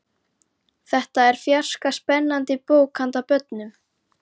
Þetta er fjarska spennandi bók handa börnum.